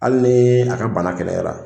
Hali ni a ka bana gɛlɛyara.